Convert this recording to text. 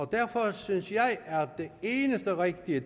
derfor synes jeg at det eneste rigtige